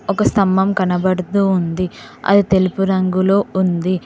ఒక స్తంభం కనబడుతూ ఉంది అది తెలుపు రంగులో ఉంది.